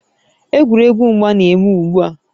Egwuregwu mgba na-eme ugbu a